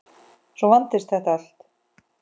Svo vandist þetta allt.